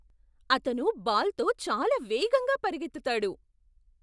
అతను బాల్తో చాలా వేగంగా పరిగెత్తుతాడు!